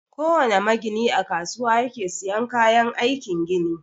Kowana magini a kasuwa yake siyan kayan aikin gini.